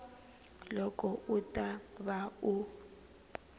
loko u ta va u